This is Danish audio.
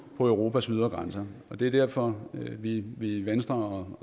på europas ydre grænser og det er derfor at vi i venstre